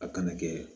A kana kɛ